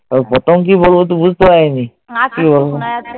প্রথম কি বলব তো বুঝতে পারিনি।